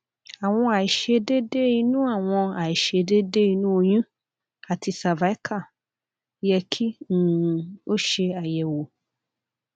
awọn aiṣedede inu awọn aiṣedede inu oyun ati cervical yẹ ki um o ṣe ayẹwo